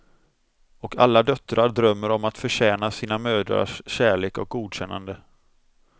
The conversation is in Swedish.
Och alla döttrar drömmer om att förtjäna sina mödrars kärlek och godkännande.